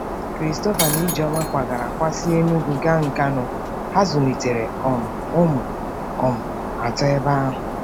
Christopher na Ijeoma kwagara kwa si Enugu gaa Nkanu, ha zụlitere um ụmụ um atọ ebe ahụ.